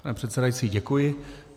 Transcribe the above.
Pane předsedající, děkuji.